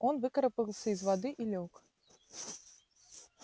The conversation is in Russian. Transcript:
он выкарабкался из воды и лёг